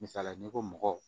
Misali la n'i ko mɔgɔ